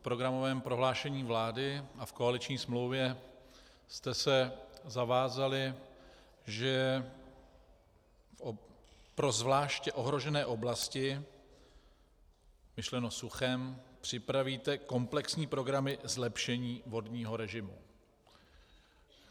V programovém prohlášení vlády a v koaliční smlouvě jste se zavázali, že pro zvláště ohrožené oblasti - myšleno suchem - připravíte komplexní programy zlepšení vodního režimu.